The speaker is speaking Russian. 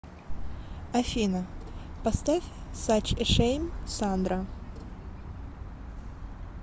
афина поставь сач э шэйм сандра